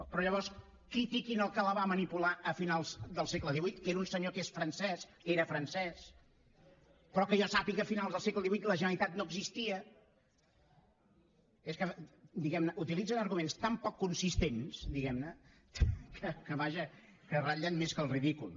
però llavors critiquin el que la va manipular a finals del segle xviii que era un senyor que era francès però que jo sàpiga a finals del segle xviiiarguments tan poc consistents diguem ne que vaja ratllen més que el ridícul